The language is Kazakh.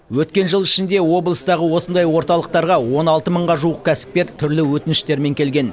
өткен жыл ішінде облыстағы осындай орталықтарға он алты мыңға жуық кәсіпкер түрлі өтініштермен келген